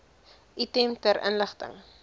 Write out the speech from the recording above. item ter inligting